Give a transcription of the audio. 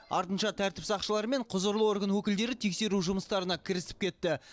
артынша тәртіп сақшылары мен құзырлы орган өкілдері тексеру жұмыстарына кірісіп кетті